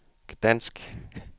Gdansk